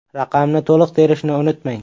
Raqamni to‘liq terishni unutmang.